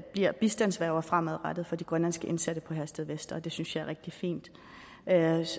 bliver bistandsværger fremadrettet for de grønlandske indsatte på herstedvester og det synes jeg er rigtig fint